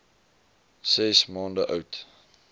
ses maande oud